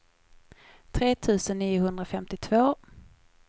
tre tusen niohundrafemtiotvå